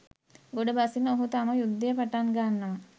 ගොඩ බසින ඔහු තම යුද්ධය පටන් ගන්නවා